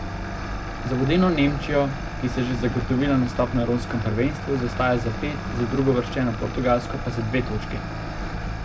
Za vodilno Nemčijo, ki si je že zagotovila nastop na evropskem prvenstvu, zaostaja za pet, za drugouvrščeno Portugalsko pa za dve točki.